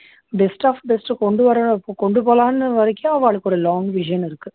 bes of best அ கொண்டு வரேன் கொண்டு போலாம்னு வரைக்கும் அவாளுக்கு ஒரு long vision இருக்கு